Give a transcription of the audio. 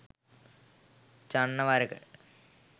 Channa වරෙක